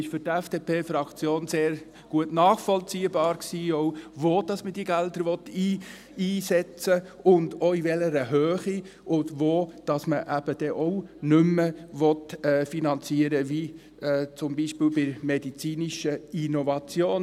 Für die FDP-Fraktion war dies sehr gut nachvollziehbar, auch wo man diese Gelder einsetzen will und auch in welcher Höhe und wo man nicht mehr finanzieren will, wie zum Beispiel bei der medizinischen Innovation.